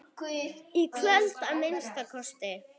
Í kvöld, að minnsta kosti.